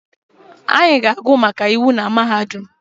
Anyị ga-agụ maka iwu na mahadum